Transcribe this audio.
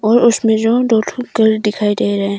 और उसमें जो दो ठो घर दिखाई दे रहे हैं।